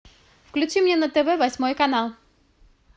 включи мне на тв восьмой канал